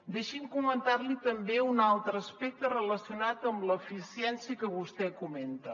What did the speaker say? deixi’m comentar li també un altre aspecte relacionat amb l’eficiència que vostè comenta